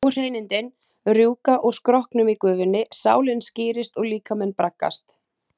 Óhreinindin rjúka úr skrokknum í gufunni, sálin skírist og líkaminn braggast.